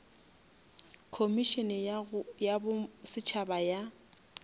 khomišene ya bo setšhaba ya